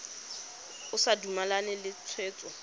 o sa dumalane le tshwetso